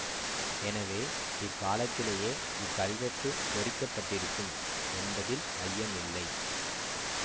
எனவே இக்காலத்திலேயே இக்கல்வெட்டு பொறிக்க பட்டிருக்கும் என்பதில் ஐயமில்லை